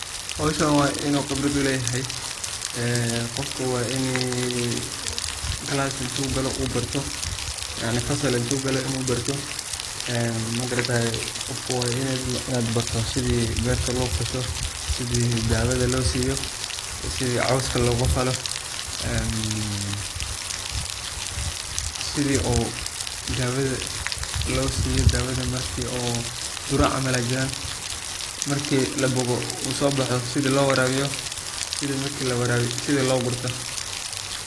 Howshan wainu qibrad uleyahay, qofka wa inii class intugalo uu barto yacni fasal intu galo ii uu barto magaratayee qofka wa inuu barto sidii berta lofasho, sidii dawada losiyo, sidii qowska logafalo, marki labogo uu soboxo sidii lowarawiyo iyo sidii logurto.